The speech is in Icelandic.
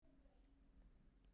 Nú skil ég þig ekki.